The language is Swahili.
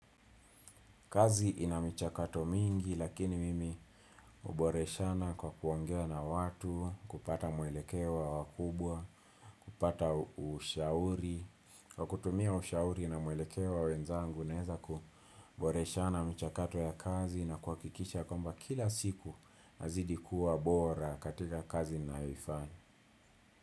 Kazi ina michakato mingi lakini mimi huboreshana kwa kuongea na watu, kupata mwelekeo wa wakubwa, kupata ushauri. Kwa kutumia ushauri na muelekeo wa wenzangu naeza kuboreshana michakato ya kazi na kuhakikisha kwamba kila siku nazidi kuwa bora katika kazi ninayoifanya.